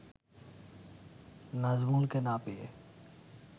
নাজমুলকে না পেয়ে